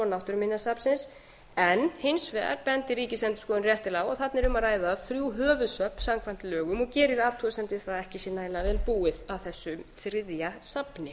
náttúruminjasafnsins en hins vegar bendir ríkisendurskoðun réttilega á að þarna er um að ræða þrjú höfuðsafn samkvæmt lögum og gerir athugasemd við það að ekki sé nægilega vel búið að þessu þriðja safni